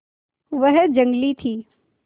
वह जंगली थी